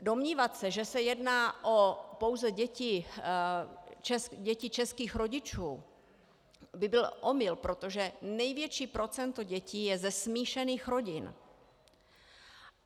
Domnívat se, že se jedná pouze o děti českých rodičů, by byl omyl, protože největší procento dětí je ze smíšených rodin.